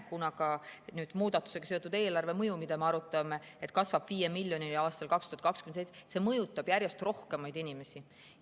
Kuna muudatusega seotud eelarvemõju, mida me arutame, kasvab 5 miljonini aastal 2027, siis me näeme, et see mõjutab järjest rohkemaid inimesi.